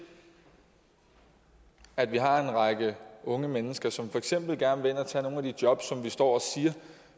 at vi har en række unge mennesker som for eksempel gerne vil ind og tage de jobs som vi står og siger